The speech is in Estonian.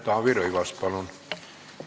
Taavi Rõivas, palun!